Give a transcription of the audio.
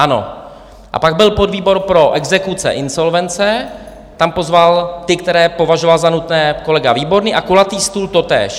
Ano, a pak byl podvýbor pro exekuce, insolvence, tam pozval ty, které považoval za nutné, kolega Výborný, a kulatý stůl totéž.